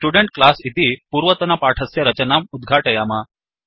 student class इति पूर्वतनपाठस्य रचनाम् उद्घाटयाम